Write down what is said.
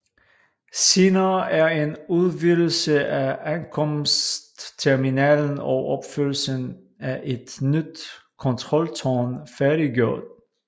Senere er en udvidelse af ankomstterminalen og opførslen af et nyt kontroltårn færdiggjort